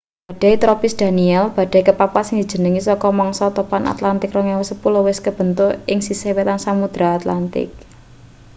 badai tropis danielle badai kepapat sing dijenengi saka mangsa topan atlantik 2010 wis kebentuk ing sisih wetan samudra atlantik